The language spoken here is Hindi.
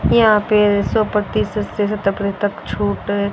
यहां पे सौ प्रतिशत से तक छूट--